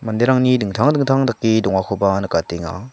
manderangni dingtang dingtang dake dongakoba nikatenga.